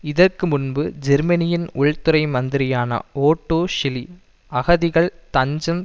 இதற்கு முன்பு ஜெர்மனியின் உள்துறை மந்திரியான ஓட்டோ ஷிலி அகதிகள் தஞ்சம்